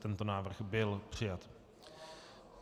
Tento návrh byl přijat.